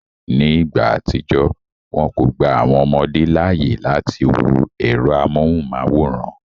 Ní ìgbà àtijọ́, wọn kò gba àwọn ọmọdé láàyè láti wo ẹ̀rọ amóhùnmáwòrán